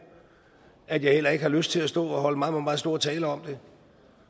at jeg heller ikke har lyst til at stå og holde meget meget store taler om det